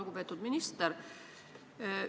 Lugupeetud minister!